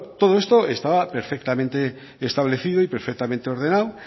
todo eso estaba perfectamente establecido y perfectamente ordenado